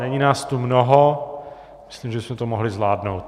Není nás tu mnoho, myslím, že bychom to mohli zvládnout.